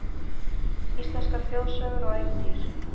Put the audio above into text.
Íslenskar þjóðsögur og ævintýr